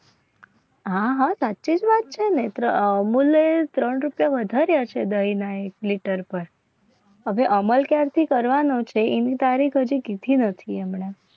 હા સાચે જ વાત છે. અમુલ દહીં ને ત્રણ રૂપિયા વધારે છે. હવે અમલ ક્યારથી કરવાનો છે એની તારીખ હજી નથી. હમણાં